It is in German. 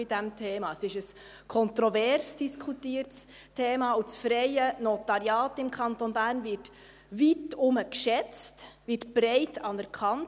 Es ist ein kontrovers diskutiertes Thema, und das freie Notariat im Kanton Bern wird weitherum geschätzt, wird breit anerkannt.